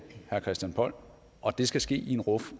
herre christian poll og det skal ske i en ruf